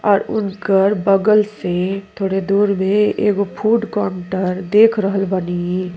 और उड़कर बगल से थोरे दूर बे एगो फूड कॉनटेर देख रहल बानी।